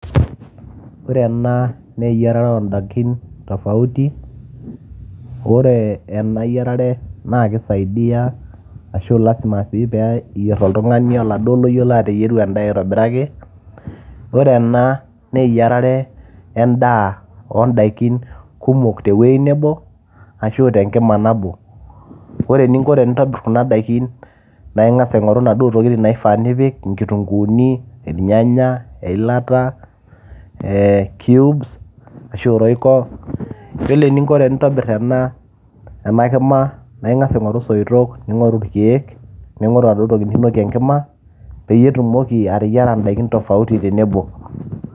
ore ena naa eyiarare oondaikin tofauti ore ena yiarare naa kisaidiyia ashu lasima sii peyie eyierr oltung'ani oladuo loyiolo ateyieru endaa aitobiraki ore ena naa eyiarare endaa oondaikin kumok tewueji nebo ashu tenkima nabo ore eninko tenintobirr kuna daikin naa ing'as aing'oru inaduo tokitin naifaa nipik inkitunguuni irnyanya eilata ee cubes ashu royco yiolo eninko tenintobirr ena ena kima naa ing'as aing'oru isoitok ning'oru irkeek ning'oru enaduo toki ninokie enkima peyie itumoki ateyiara indaikin tofauti tenebo.